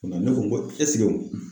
Ka na ,ne ko n ko